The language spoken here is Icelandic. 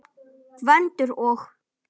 Gvendur og